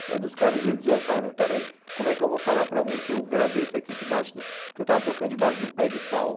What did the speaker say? Até dos caras eles ouvem e falam, mas espera aí, como é que eu vou falar para alguém que eu gravei isso aqui debaixo do... que eu estava tocando debaixo de um pé de pau?